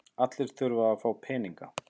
Allir þurfa að fá peninga.